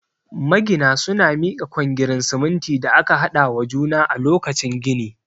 Magina suna mika kwangirin siminti da aka haɗa wa juna a lokacin gini